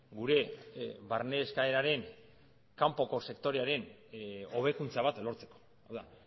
gure barne eskaeraren kanpoko sektorearen hobekuntza bat lortzeko hau da